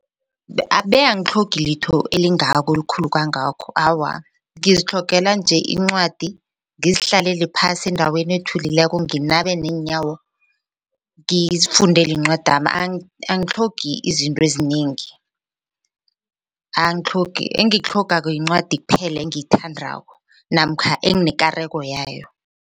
Abe angitlhogi litho elingako elikhulu kangakho awa ngizitlhogela nje incwadi ngizihlalele phasi endaweni ethuliko nginabe neenyawo ngizifundele incwadami angitlhogi izinto ezinengi. Angitlhogi engikutlhogako yincwadi kuphela engiyithandako namkha enginekareko yayo.